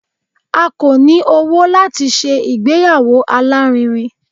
A kò ní owó láti se ìgbéyàwó alárinrin